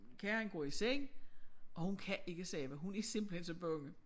Karen går i seng og hun kan ikke sove hun er simpelthen så bange